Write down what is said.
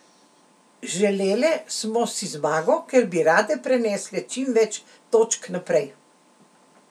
Želele smo si zmago, ker bi rade prenesle čim več točk naprej.